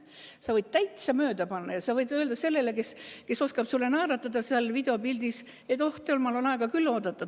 Sa võid täitsa mööda panna ja sa võid öelda sellele, kes oskab sulle naeratada seal videopildis, et oh, temal on aega küll oodata.